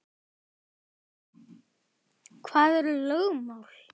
Hvað eru lögmál?